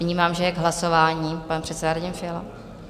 Vnímám, že k hlasování pan předseda Radim Fiala.